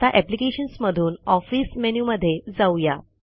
आता अप्लिकेशन्स मधून ऑफिस मेनूमध्ये जाऊया